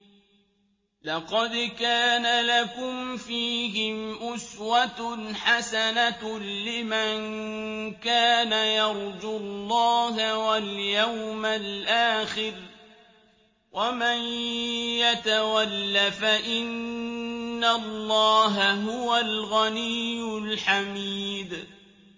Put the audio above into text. لَقَدْ كَانَ لَكُمْ فِيهِمْ أُسْوَةٌ حَسَنَةٌ لِّمَن كَانَ يَرْجُو اللَّهَ وَالْيَوْمَ الْآخِرَ ۚ وَمَن يَتَوَلَّ فَإِنَّ اللَّهَ هُوَ الْغَنِيُّ الْحَمِيدُ